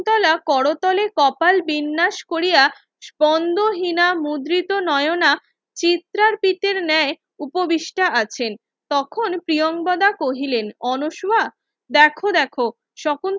শকুন্তলা করতলে কপাল বিন্যাস কোরিয়া স্পন্দহীনা মুদ্রিত নয়না চিত্রার পিতে ন্যায় উপবিষ্টা আছেন তখন প্রিয়ংবদা কহিলেন অনস্মা দেখো দেখো শকুন্তলা